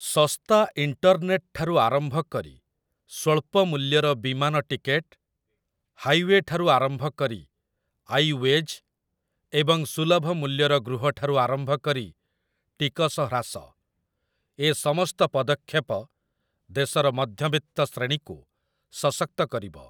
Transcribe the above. ଶସ୍ତା ଇଣ୍ଟରନେଟଠାରୁ ଆରମ୍ଭ କରି ସ୍ୱଳ୍ପ ମୂଲ୍ୟର ବିମାନ ଟିକେଟ, ହାଇୱେଠାରୁ ଆରମ୍ଭ କରି ଆଇ ୱେଜ୍‌ ଏବଂ ସୁଲଭ ମୂଲ୍ୟର ଗୃହଠାରୁ ଆରମ୍ଭ କରି ଟିକସ ହ୍ରାସ, ଏ ସମସ୍ତ ପଦକ୍ଷେପ ଦେଶର ମଧ୍ୟବିତ୍ତ ଶ୍ରେଣୀକୁ ସଶକ୍ତ କରିବ ।